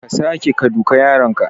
Kar ka sake ka duka yaronka.